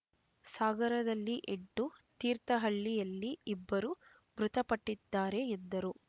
ಸಾಗರದಲ್ಲಿ ಎಂಟು ತೀರ್ಥಹಳ್ಳಿಯಲ್ಲಿ ಇಬ್ಬರು ಮೃತಪಟ್ಟಿದ್ದಾರೆ ಎಂದರು